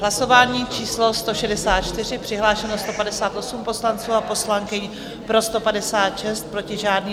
Hlasování číslo 164, přihlášeno 158 poslanců a poslankyň, pro 156, proti žádný.